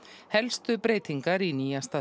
helstu breytingar í nýjasta